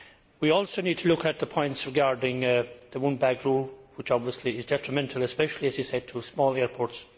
We also need to look at the points regarding the one bag rule, which is obviously detrimental especially, as he said, to small airports.